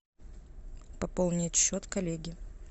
пополнить счет коллеги